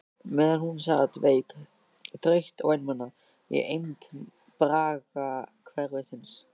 Meðan hún sat veik, þreytt og einmana í eymd braggahverfisins.